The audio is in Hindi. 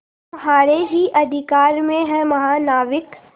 तुम्हारे ही अधिकार में है महानाविक